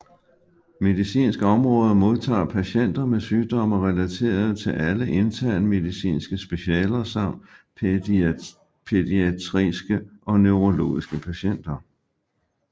Medicinsk Område modtager patienter med sygdomme relaterede til alle intern medicinske specialer samt pædiatriske og neurologiske patienter